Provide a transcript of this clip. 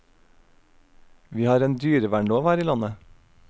Vi har en dyrevernlov her i landet.